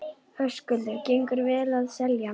Höskuldur: Gengur vel að selja?